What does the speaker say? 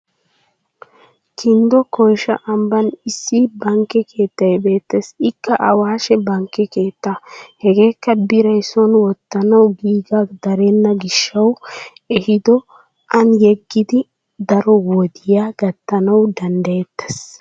Kinddo koyisha ambban issi bankke keettay beettes ikka awaashe bankke keettaa. Hageekka biray son wottanawu giigaa darenna gishshawu ehido Ani yeggidi daro wodiya gattanawu danddayettes.